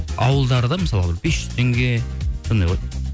ауылдарда мысалға бес жүз теңге сондай ғой